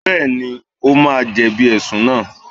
Bẹ́ẹ̀ni, ó máa jẹ̀bi Ẹ̀sùn náà